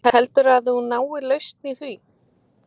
Heldur þú að þið náið lausn í því?